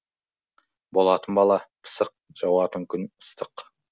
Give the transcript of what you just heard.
болатын бала пысық жауатын күн ыстық